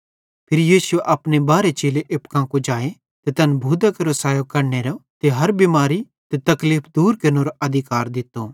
फिरी यीशुए अपने बारहे चेले एप्पू कां कुजाए ते तैन भूतां केरो सैयो कढनेरो ते हर बिमारी ते तकलीफ़ दूर केरनेरो अधिकार दित्तो